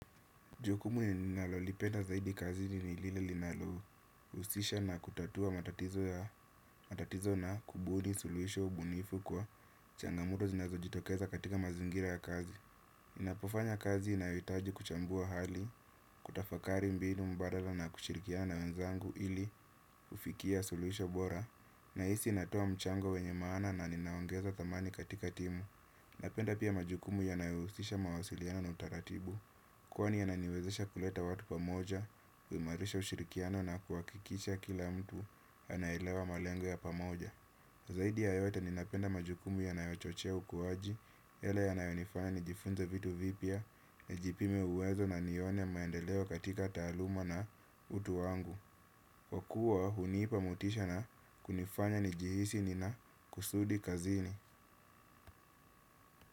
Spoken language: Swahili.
Jukumu ninalolipenda zaidi kazini ni lile linalohusisha na kutatua matatizo na kubuni suluhisho bunifu kwa changamoto zinazojitokeza katika mazingira ya kazi. Ninapofanya kazi inayohitaji kuchambua hali kutafakari mbinu mbadala na kushirikiana na wenzangu ili kufikia suluhisho bora. Nahisi natoa mchango wenye maana na ninaongeza thamani katika timu. Napenda pia majukumu yanayohusisha mawasiliano na utaratibu kwani yananiwezesha kuleta watu pamoja kuimarisha ushirikiano na kuhakikisha kila mtu anaelewa malengo ya pamoja. Zaidi ya yote ninapenda majukumu yanayochochea ukuaji yale yanayonifanya nijifunze vitu vipya. Najipime uwezo na nione maendeleo katika taaluma na utu wangu kwa kuwa hunipa motisha na kunifanya nijihisi nina kusudi kazini.